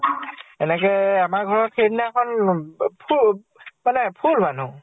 এনেকে আমাৰ ঘৰ ত সেইদিনাখন পু মানে full মানুহ